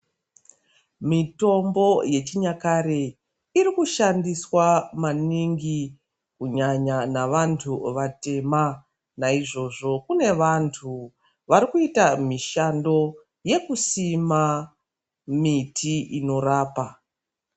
Mitombo yechinyakare iri kushandiswa maningi kunyanya nevantu vatema. Naizvozvo kune vantu vari kuita mishando yekusima miti inorapa.